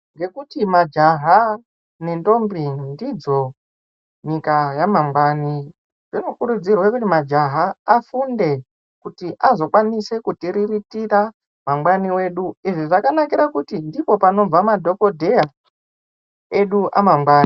Nekuti majaha nendombi ndidzo nyika yamangwani zvino kurudzirwa majaha afunde kuti anokwanisa kuriritira mangwani wedu izvi zvakakira kutindipo panobva madhokodheya edu amangwani.